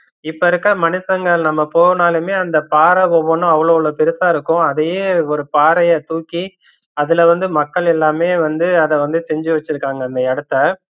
இப்ப இருக்கற மனுசங்க நம்ம போனலுமே அந்த பாறை ஒவ்வனும் அவ்வளோ அவ்வளோ பெருசாயிருக்கும் அதையே ஒரு பாறைய தூக்கி அதுல வந்து மக்கள் எல்லாமே வந்து அத வந்து செஞ்சு வச்சுருக்காங்க அந்த இடத்த